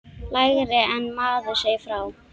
Lægra en maður segir frá.